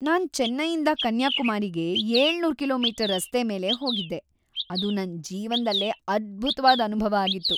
ನಾನ್ ಚೆನ್ನೈಯಿಂದ ಕನ್ಯಾಕುಮಾರಿಗೆ ಏಳುನೂರು ಕಿಲೋ.ಮೀಟರ್. ರಸ್ತೆ ಮೇಲೇ ಹೋಗಿದ್ದೆ, ಅದು ನನ್ ಜೀವ್ನದಲ್ಲೇ ಅದ್ಭುತ್ವಾದ್ ಅನುಭವ ಆಗಿತ್ತು.